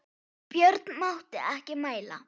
Björn mátti ekki mæla.